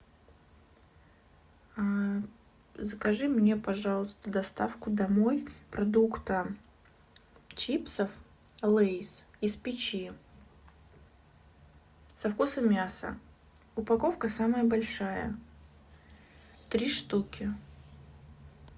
закажи мне пожалуйста доставку домой продукта чипсов лейс из печи со вкусом мяса упаковка самая большая три штуки